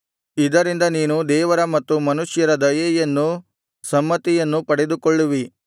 ಇದರಿಂದ ನೀನು ದೇವರ ಮತ್ತು ಮನುಷ್ಯರ ದಯೆಯನ್ನೂ ಸಮ್ಮತಿಯನ್ನೂ ಪಡೆದುಕೊಳ್ಳುವಿ